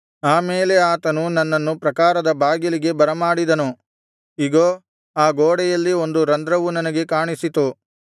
ಆಮೇಲೆ ಆತನು ನನ್ನನ್ನು ಪ್ರಾಕಾರದ ಬಾಗಿಲಿಗೆ ಬರ ಮಾಡಿದನು ಇಗೋ ಆ ಗೋಡೆಯಲ್ಲಿ ಒಂದು ರಂಧ್ರವು ನನಗೆ ಕಾಣಿಸಿತು